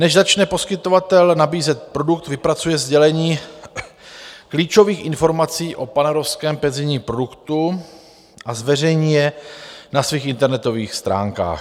Než začne poskytovatel nabízet produkt, vypracuje sdělení klíčových informací o panevropském penzijním produktu a zveřejní je na svých internetových stránkách.